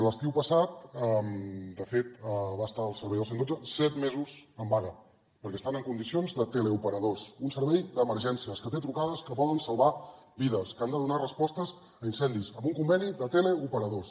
l’estiu passat de fet va estar el servei del cent i dotze set mesos en vaga perquè estan en condicions de teleoperadors un servei d’emergències que té trucades que poden salvar vides que han de donar respostes a incendis amb un conveni de teleoperadors